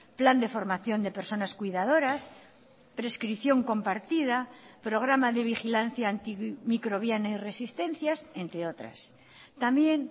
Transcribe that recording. plan de formación de personas cuidadoras prescripción compartida programa de vigilancia antimicrobiana y resistencias entre otras también